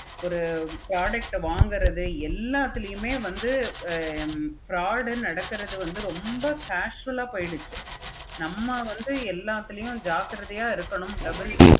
ஒரு product ஆஹ் வாங்குறது எல்லாத்துலயும் வந்து fraud நடக்குறது ரொம்ப casual ஆஹ் போச்சி. நம்ம வந்து எல்லாத்துலயும் ஜாக்கிரதையா இருக்கணும் double